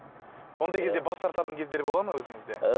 ондай кезде бас тартатын кездер бола ма өзіңізде